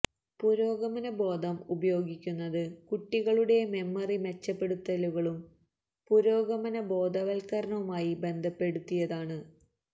പുരോഗമന ബോധം ഉപയോഗിക്കുന്നത് കുട്ടികളുടെ മെമ്മറി മെച്ചപ്പെടുത്തലുകളും പുരോഗമന ബോധവൽക്കരണവുമായി ബന്ധപ്പെടുത്തിയാണ്